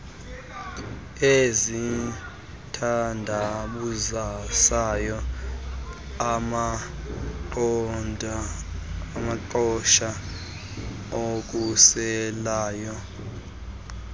ezithandabuzisayo amaqhosha akhuselayo